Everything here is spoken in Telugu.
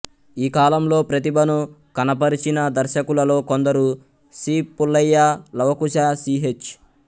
ఈ కాలంలో ప్రతిభను కనపరచిన దర్శకులలో కొందరు సి పుల్లయ్య లవకుశ సిహెచ్